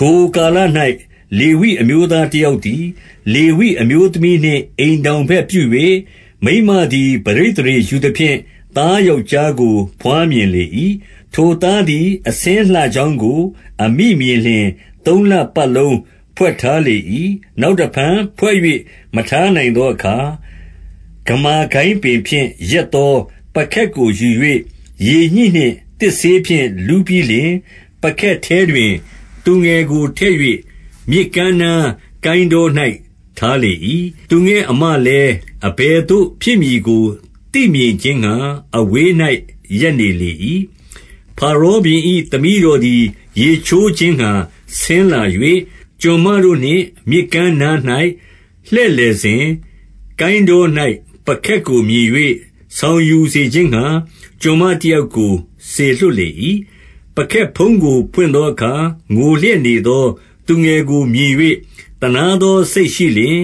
ထိုကာလ၌ လေဝိအမျိုးသားတယောက်သည်၊ လေဝိအမျိုးသမီးနှင့် အိမ်ထောင်ဘက်ပြု၍၊ 2 မိန်းမသည် ပဋိသန္ဓေယူသဖြင့် သားယောက်ျားကို ဘွားမြင်လေ၏။ ထိုသားသည် အဆင်းလှကြောင်းကို အမိမြင်လျှင်၊ သုံးလပတ်လုံး ဖွက်ထားလေ၏။ 3 နောက်တဖန် ဖွက်၍မထားနိုင်သောအခါ၊ ဂမာကိုင်းပင်ဖြင့် ရက်သောပုခက်ကိုယူ၍ ရေညှိနှင့်သစ်စေး ဖြင့် လူးပြီးလျှင်၊ ပုခက်ထဲတွင် သူငယ်ကိုထည့်၍ မြစ်ကမ်းနားကိုင်းတော၌ ထားလေ၏။ 4 သူငယ်အစ်မလည်း အဘယ်သို့ဖြစ်မည်ကို သိမြင်ခြင်းငှါ အဝေး၌ ရပ်နေလေ၏။ 5 ဖာရောဘုရင်၏သမီးတော်သည် ရေချိုးခြင်းငှါ ဆင်းလာ၍၊ ကျွန်မတို့နှင့် မြစ်ကမ်းနား၌ လှည့်လည်စဉ်၊ ကိုင်းတော၌ ပုခက်ကိုမြင်၍ ဆောင်ယူစေခြင်းငှါ ကျွန်မ တယောက်ကို စေလွှတ်လေ၏။ 6 ပုခက်ဖုံးကို ဖွင့်သောအခါ၊ ငိုလျက်နေသော သူငယ်ကိုမြင်၍၊ သနားသောစိတ်ရှိလျှင်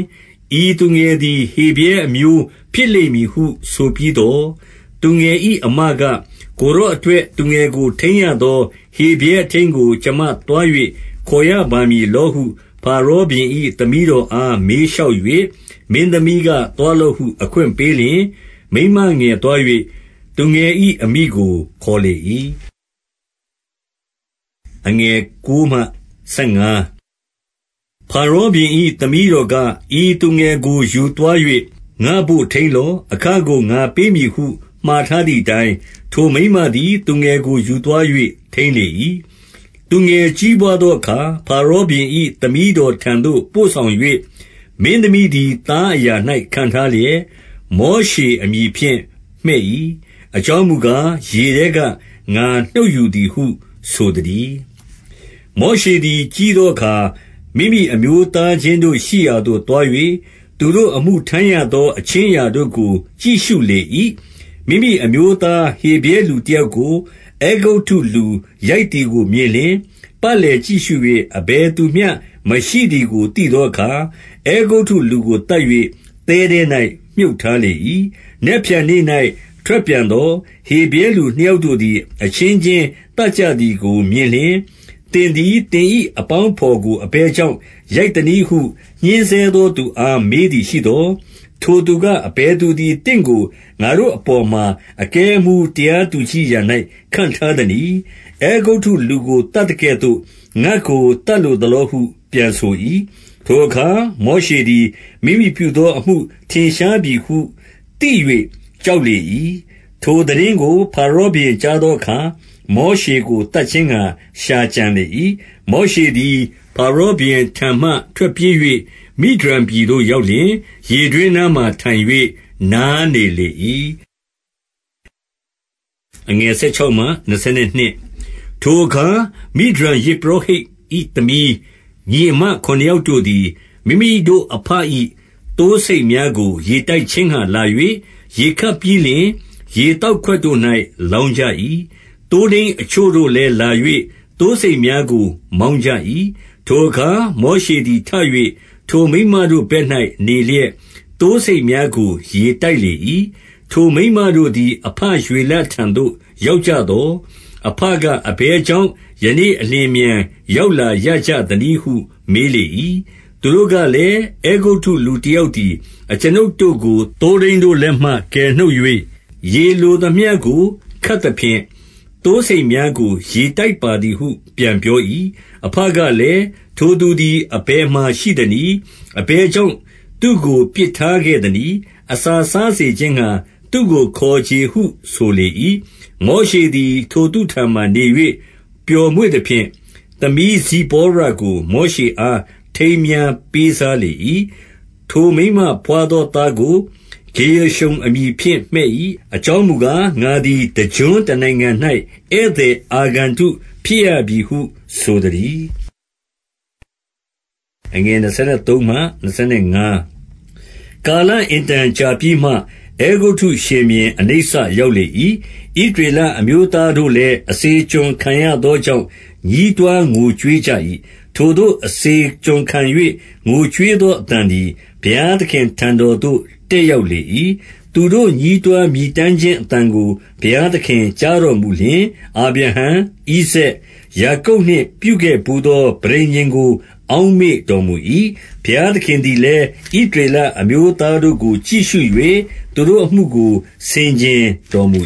၊ ဤသူငယ်သည် ဟေဗြဲအမျိုးဖြစ်လိမ့်မည်ဟု ဆိုပြီးသော်၊ 7 သူငယ်၏အစ်မက၊ ကိုယ်တော်အတွက် သူငယ်ကို ထိန်းရသော ဟေဗြဲအထိန်းကို ကျွန်မသွား၍ ခေါ်ရ ပါမည်လောဟု ဖာရောဘုရင်၏ သမီးတော်အား မေးလျှောက်၍၊ 8 မင်းသမီးက သွားလော့ဟု အခွင့်ပေးလျှင်၊ မိန်းမငယ်သွား၍ သူငယ်၏အမိကိုခေါ်လေ၏။ 9 ဖာရောဘုရင်၏သမီးတော်က၊ ဤသူငယ်ကို ယူသွား၍ ငါ့ဘို့ ထိန်းလော။ အခကို ငါပေးမည်ဟု မှာထားသည်အတိုင်း၊ ထိုမိန်းမသည် သူငယ်ကို ယူသွား၍ ထိန်းလေ၏။ 10 သူငယ်ကြီးပွားသောအခါ၊ ဖာရောဘုရင်၏ သမီးတော်ထံသို့ ပို့ဆောင်၍ မင်းသမီးသည် သားအရာ၌ ခန့်ထားလျက်၊ မောရှအမည်ဖြင့် မှည့်၏။ အကြောင်းမူကား၊ ရေထဲကငါနှုတ်ယူသည်ဟု ဆိုသတည်း။ 11 မောရှေသည် ကြီးသောအခါ၊ မိမိအမျိုးသားချင်းတို့ရှိရာသို့ သွား၍ သူတို့အမှုထမ်းရသောအခြင်း အရာတို့ကို ကြည့်ရှုလေ၏။ မိမိအမျိုးသားဟေဗြဲ လူတယောက်ကို၊ အဲဂုတ္တုလူရိုက်သည်ကိုမြင်လျှင်၊ 12 ပတ်လည်ကြည့်ရှု၍ အဘယ်သူမျှမရှိသည်ကို သိသောအခါ၊ အဲဂုတ္တုလူကိုသတ်၍ သဲထဲ၌ မြှုပ်ထားလေ ၏။ 13 နက်ဖြန်နေ့၌ ထွက်ပြန်သော်၊ ဟေဗြဲလူနှစ်ယောက်တို့သည် အချင်းချင်းသတ်ကြသည်ကို မြင်လျှင်၊ သင်သည် သင်၏အပေါင်းအဘော်ကို အဘယ်ကြောင့် ရိုက်သနည်းဟု ညှဉ်းဆဲသောသူအား မေးသည်ရှိသော်၊ 14 ထိုသူက၊ အဘယ်သူသည် သင့်ကို ငါတို့အပေါ်မှာ အကဲအမှူး တရားသူကြီးအရာ၌ ခန့်ထားသနည်း။ အဲဂုတ္တုလူကို သတ်သကဲ့သို့ ငါ့ကို သတ်လိုသလောဟု ပြန်ဆို၏။ ထိုအခါ မောရှေသည် မိမိပြုသောအမှု ထင်ရှားပြီဟု သိ၍ကြောက်လေ၏။ 15 ထိုသိတင်းကို ဖါရောဘုရင်ကြားသောအခါ၊ မောရှေကို သတ်ခြင်းငှါ ရှာကြံလေ၏။ မောရှေသည် ဖါရောဘုရင်ထံမှ ထွက်ပြေး၍၊ မိဒျန်ပြည်သို့ ရောက်လျှင်၊ ရေတွင်းနားမှာ ထိုင်၍နားနေလေ၏။ 16 ထိုအခါ မိဒျန်ယဇ်ပုရောဟိတ်၏ သမီးညီအစ်မ ခုနစ်ယောက်တို့သည်၊ မိမိတို့အဘ၏ သိုးဆိတ်များကို ရေတိုက်ခြင်းငှါလာ၍ ရေခပ်ပြီးလျှင်၊ ရေသောက်ခွက်တို့၌ လောင်းကြ၏။ 17 သိုးထိန်းအချို့တို့လည်း လာ၍ သိုးဆိတ်များကို မောင်းကြ၏။ ထိုအခါ မောရှေသည်ထ၍ ထိုမိန်းမတို့ဘက်၌နေလျက်၊ သိုးဆိတ်များကို ရေတိုက်လေ၏။ 18 ထိုမိန်းမတို့သည် အဘရွေလထံသို့ ရောက်ကြသော်၊ အဘက အဘယ်ကြောင့် ယနေ့အလျင်အမြန် ရောက်လာရကြသနည်းဟု မေးလေ၏။ 19 သူတို့ကလည်း၊ အဲဂုတ္တုလူတယောက်သည် အကျွန်ုပ်တို့ကို သိုးထိန်းတို့လက်မှ ကယ်နှုတ်၍၊ ရေ လိုသမျှကို ခပ်သဖြင့်၊ သိုးဆိတ်များကို ရေတိုက်ပါသည်ဟု ပြန်ပြော၏။ 20 အဘကလည်း၊ ထိုသူသည် အဘယ်မှာရှိသနည်း။ အဘယ်ကြောင့် သူ့ကိုပစ်ထားခဲ့သနည်း။ အစာ စားစေခြင်းငှါ သူ့ကိုခေါ်ချေကြဟု ဆိုလေ၏။ 21 မောရှေသည် ထိုသူထံမှာနေ၍ ပျော်မွေ့သဖြင့်၊ သမီးဇိပေါရကို မောရှေအား ထိမ်းမြားပေးစားလေ၏။ 22 ထိုမိန်းမဘွားသောသားကို ဂေရရှုံအမည်ဖြင့် မှည့်၏။ အကြောင်းမူကား၊ ငါသည်တကျွန်းတနိုင်ငံ၌ ဧည့်သည်အာဂန္တုဖြစ်ရပြီဟုဆိုသတည်း။ 23 ကာလအင်တန်ကြာပြီးမှ၊ အဲဂုတ္တုရှင်ဘုရင် အနိစ္စရောက်လေ၏။ ဣသရေလအမျိုးသားတို့လည်း အစေကျွန်ခံရသောကြောင့် ညည်းတွားငိုကြွေးကြ၏။ ထိုသို့ အစေကျွန်ခံ၍ငိုကြွေးသော အသံသည် ဘုရား သခင်ထံတော်သို့ တက်ရောက်လေ၏။ 24 သူတို့ ညည်းတွားမြည်တမ်းခြင်း အသံကို ဘုရားသခင်ကြားတော်မူလျှင်၊ အာဗြဟံ၊ ဣဇာက်၊ ယာကုပ်နှင့် ပြုခဲ့ဘူးသောပဋိညာဉ်ကို အောက်မေ့တော်မူ၏။ 25 ဘုရားသခင်သည်လည်း၊ ဣသရေလအမျိုးသားတို့ကို ကြည့်ရှု၍ သူတို့အမှုကို ဆင်ခြင်တော်မူ